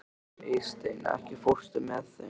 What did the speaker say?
Eysteinn, ekki fórstu með þeim?